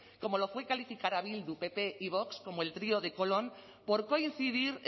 como lo fue calificar a bildu pp y vox como el trío de colón por coincidir